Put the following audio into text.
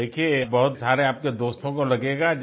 आप देखिये आप बहुत सारे आपके दोस्तों को लगेगा